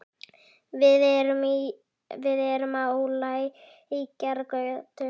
Við erum á Lækjargötu.